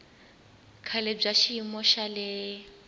kahle bya xiyimo xa le